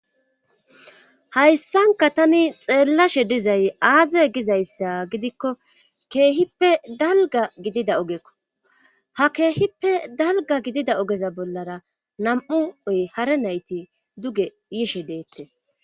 Hayssanka tani xeellashe dizay aaze gizayssa gidikko keehippe dalga gidida ogekko ha keehippe dalga gidida ogeza bollara nam7u oy hara nayti duge yishe deettes